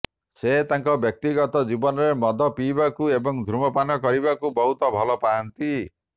ସେ ତାଙ୍କ ବ୍ୟକ୍ତିଗତ ଜୀବନରେ ମଦ ପିଇବାକୁ ଏବଂ ଧୂମପାନ କରିବାକୁ ବହୁତ ଭଲ ପାଆନ୍ତି